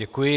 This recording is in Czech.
Děkuji.